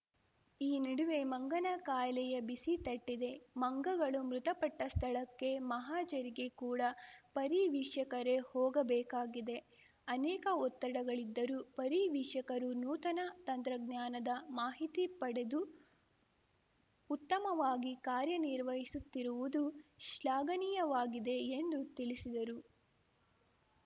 ಈ ನಡುವೆ ಮಂಗನ ಕಾಯಿಲೆಯ ಬಿಸಿ ತಟ್ಟಿದೆ ಮಂಗಗಳು ಮೃತಪಟ್ಟಸ್ಥಳಕ್ಕೆ ಮಹಜರಿಗೆ ಕೂಡ ಪರಿವೀಕ್ಷಕರೇ ಹೋಗಬೇಕಾಗಿದೆ ಅನೇಕ ಒತ್ತಡಗಳಿದ್ದರೂ ಪರಿವೀಕ್ಷಕರು ನೂತನ ತಂತ್ರಜ್ಞಾನದ ಮಾಹಿತಿ ಪಡೆದು ಉತ್ತಮವಾಗಿ ಕಾರ್ಯನಿರ್ವ ಹಿಸುತ್ತಿರುವುದು ಶ್ಲಾಘನೀಯವಾಗಿದೆ ಎಂದು ತಿಳಿಸಿದರು